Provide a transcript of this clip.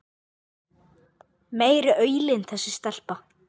Meiri aulinn þessi stelpa.